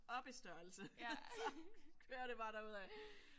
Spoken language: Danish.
Op i størrelse så kører det bare derud